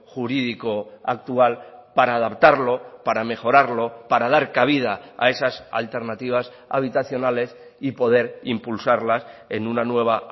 jurídico actual para adaptarlo para mejorarlo para dar cabida a esas alternativas habitacionales y poder impulsarlas en una nueva